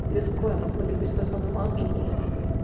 я спокойно там ходишь без самой маски на улице